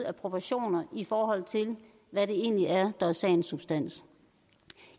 af proportioner i forhold til hvad det egentlig er der er sagens substans